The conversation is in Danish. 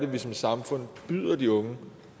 vi som samfund byder de unge